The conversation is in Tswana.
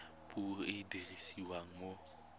puo e e dirisiwang mo